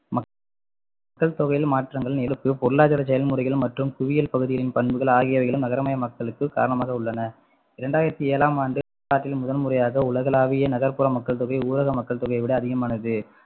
மக்கள் தொகையில் மாற்றங்கள் பொருளாதார செயல்முறைகள் மற்றும் புவியியல் பகுதியின் பண்புகள் ஆகியவைகளும் நகரமயமாக்குதலுக்கு காரணமாக உள்ளன ரெண்டாயிரத்து ஏழாம் ஆண்டு முதல்முறையாக உலகலாவிய நகர்ப்புற மக்கள்தொகை ஊரக மக்கள் தொகையை விட அதிகமானது